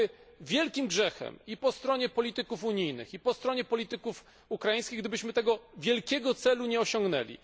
Byłoby wielkim grzechem i po stronie polityków unijnych, i po stronie polityków ukraińskich gdybyśmy tego wielkiego celu nie osiągnęli.